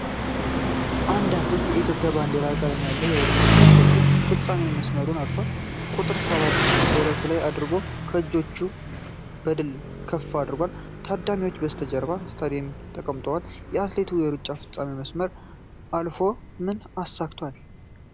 አንድ አትሌት የኢትዮጵያን ባንዲራ ቀለማት ያለው የውድድር ልብስ ለብሶ የፍፃሜ መስመሩን አልፏል። ቁጥር ሰባት ደረቱ ላይ አድርጎ እጆቹን በድል ከፍ አድርጓል። ታዳሚዎች በስተጀርባ በስታዲየም ተቀምጠዋል። አትሌቱ የሩጫውን ፍፃሜ መስመር አልፎ ምን አሳክቷል?